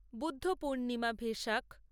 Buddha Purnima Vesak